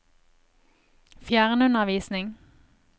fjernundervisning